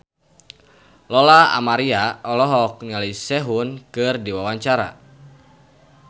Lola Amaria olohok ningali Sehun keur diwawancara